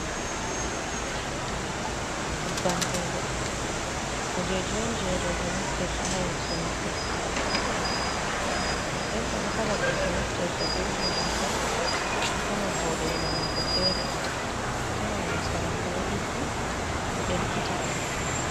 Nyeɓɓam roɓe. Kujeji on je roɓe naftirta ha yeso maɓɓe. Nɗen ɗenta bo kala ɗeɓɓo naftirta ɓe irin ɗo pat. Atawan voɗega mako fere. Atawan yeso mako ɗo ɗiggi ɗo ɗelkita.